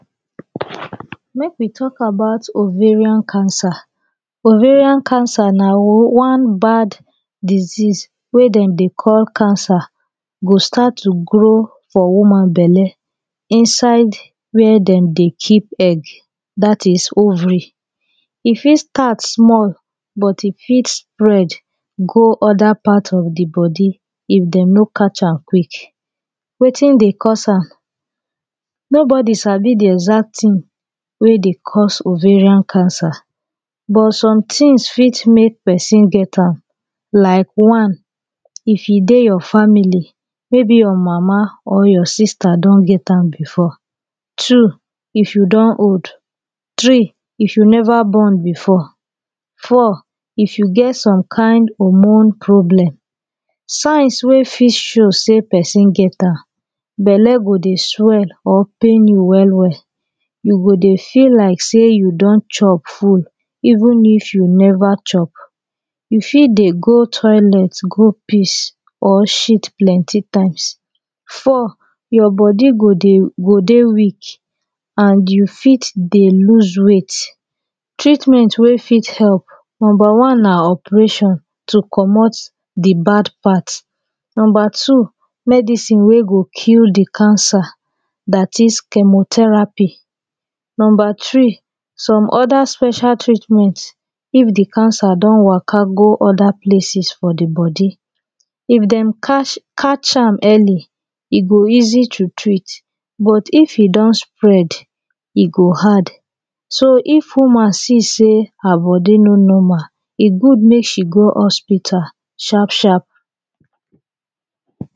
Make we talk about Ovarian Cancer. Ovarian Cancer na one bad disease wey dem dey call cancer. E go start to grow for woman belle inside wey dem dey keep egg, that is, ovary. E fit start small but e fit spread go other parts of di body if dem no catch am quick. Wetin dey cause am? Nobody sabi di exact tin wey dey cause ovarian cancer, but some tins fit make pesin get am, like one, if e dey your family. Maybe your mama or sister don get am before. Two, if you don old. Three, if you never born before. Four, if you get some kain hormone problem. Signs wey fit show say pesin get am: belle go dey swell or pain you well well. You go dey feel like say you don chop food even if you never chop. You fit dey go toilet go piss or shit plenty times. Four, your body go dey go dey weak and you fit dey lose weight. Treatment wey fit help: Number one na operation to comot di bad part. Number two, medicine wey go kill di cancer, dat is, chemotherapy. Number three, some other special treatments if di cancer don waka go other places for di body. If dem catch, catch am early, e go easy to treat; but if e don spread, e go hard. So, if woman see say her body no normal, e good make she go hospital sharp sharp.